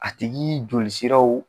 A tigi joli siraw